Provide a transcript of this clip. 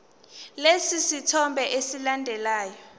lesi sithombe esilandelayo